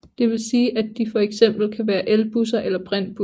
Det vil sige at de for eksempel kan være elbusser eller brintbusser